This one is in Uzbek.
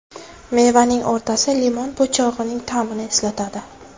Mevaning o‘rtasi limon po‘chog‘ining ta’mini eslatadi.